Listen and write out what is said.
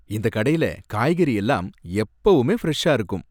இந்த கடையில காய்கறி எல்லாம் எப்பவுமே ஃபிரெஷா இருக்கும்.